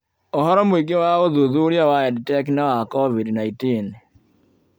Ũhoro mũingĩ wa ũthuthuria wa EdTech na wa COVID-19